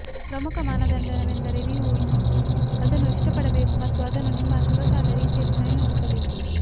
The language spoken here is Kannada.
ಪ್ರಮುಖ ಮಾನದಂಡವೆಂದರೆ ನೀವು ಅದನ್ನು ಇಷ್ಟಪಡಬೇಕು ಮತ್ತು ಅದನ್ನು ನಿಮ್ಮ ಸೊಗಸಾದ ರೀತಿಯಲ್ಲಿ ಸಂಯೋಜಿಸಬೇಕು